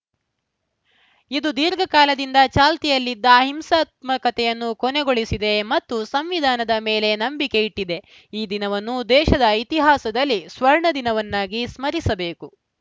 ಇದು ದೀರ್ಘ ಕಾಲದಿಂದ ಚಾಲ್ತಿಯಲ್ಲಿದ್ದ ಹಿಂಸಾತ್ಮಕತೆಯನ್ನು ಕೊನೆಗೊಳಿಸಿದೆ ಮತ್ತು ಸಂವಿಧಾನದ ಮೇಲೆ ನಂಬಿಕೆಯಿಟ್ಟಿದೆ ಈ ದಿನವನ್ನು ದೇಶದ ಇತಿಹಾಸದಲ್ಲಿ ಸ್ವರ್ಣ ದಿನವನ್ನಾಗಿ ಸ್ಮರಿಸಬೇಕು